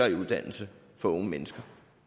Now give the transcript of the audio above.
en uddannelse for unge mennesker